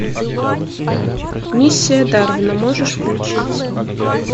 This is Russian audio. миссия дарвина можешь включить